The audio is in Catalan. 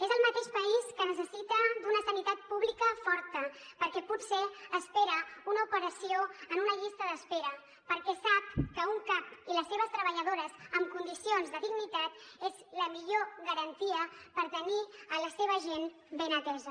és el mateix país que necessita una sanitat pública forta perquè potser espera una operació en una llista d’espera perquè sap que un cap i les seves treballadores amb condicions de dignitat és la millor garantia per tenir la seva gent ben atesa